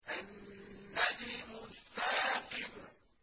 النَّجْمُ الثَّاقِبُ